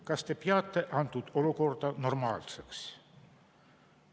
Kas te peate antud olukorda normaalseks?